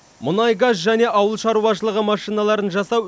мұнай газ және ауыл шаруашылығы машиналарын жасау